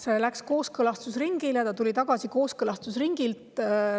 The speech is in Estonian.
See läks kooskõlastusringile ja tuli kooskõlastusringilt tagasi.